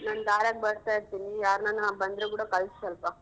ನಾನ್ ದಾರ್ಯಾಗ್ ಬರ್ತಾ ಇರ್ತೀನಿ ಯಾರ್ನಾನ ಬಂದ್ರೆ ಕೂಡ ಕಳ್ಸ್ ಸೊಲ್ಪ.